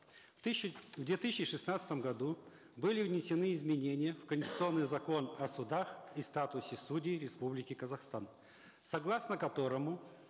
в две тысячи шестнадцатом году были внесены изменения в конституционный закон о судах и статусе судей республики казахстан согласно которому